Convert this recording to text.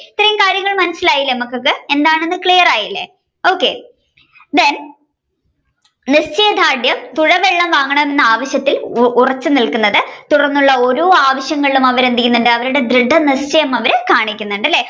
ഇത്രയും കാര്യങ്ങൾ മനസിലായില്ലേ മക്കൾക്കു എന്താണെന്നു clear ആയില്ലേ okaythen നിശ്ചയദാർഢ്യം തുഴവള്ളം വാങ്ങണമെന്ന ആവശ്യത്തിൽ ഉറച്ചു നിൽക്കുന്നത് തുടർന്നുള്ള ഓരോ ആവശ്യങ്ങളും അവർ എന്തെയുന്നുണ്ട്, അവരുടെ ദൃഢനിശ്ചയം അവർ കാണിക്കുന്നുണ്ട് അല്ലെ